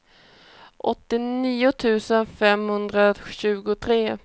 åttionio tusen femhundratjugotre